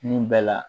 Nun bɛɛ la